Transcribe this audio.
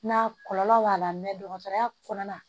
Na kɔlɔlɔ b'a la dɔgɔtɔrɔya kɔnɔna na